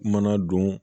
Mana don